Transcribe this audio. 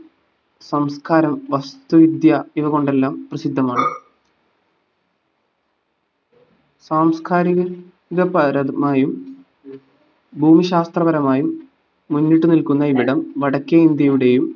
സംസ്കാരം വസ്തുവിദ്യ ഇവകൊണ്ടെല്ലാം പ്രസിദ്ധമാണ് സാംസ്‌കാരിക ന്റെ പരമായും ഭൂമിശാസ്ത്രപരമായും മുന്നിട്ട്നിൽക്കുന്ന ഇവിടം വടക്കേ ഇന്ത്യയുടേയും